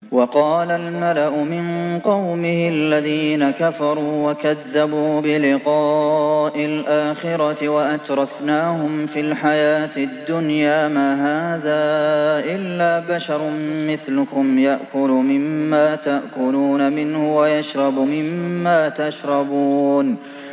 وَقَالَ الْمَلَأُ مِن قَوْمِهِ الَّذِينَ كَفَرُوا وَكَذَّبُوا بِلِقَاءِ الْآخِرَةِ وَأَتْرَفْنَاهُمْ فِي الْحَيَاةِ الدُّنْيَا مَا هَٰذَا إِلَّا بَشَرٌ مِّثْلُكُمْ يَأْكُلُ مِمَّا تَأْكُلُونَ مِنْهُ وَيَشْرَبُ مِمَّا تَشْرَبُونَ